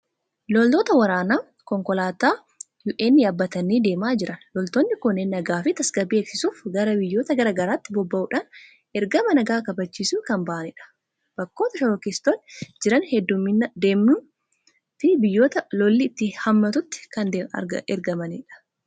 Loltoota waraanaa Konkolaataa UN yaabbatanii deemaa jiran. Loltoonni kunneen nagaa fi tasgabbii eegsisuuf gara biyyoota garaa garaatti bobba'uudhaan ergama nagaa kabachiisuu kan bahanidha. Bakkoota shororkeessitoonni jiran deemuunii fi biyyoota lolli itti hammaatutu kan ergamanidha.